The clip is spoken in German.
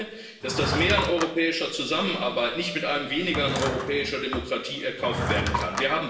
Ich denke, dass das Mehr an europäischer Zusammenarbeit nicht mit einem Weniger an europäischer Demokratie erkauft werden kann.